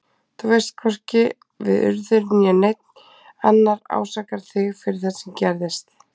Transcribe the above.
Þú veist að hvorki við Urður né neinn annar ásakar þig fyrir það sem gerðist.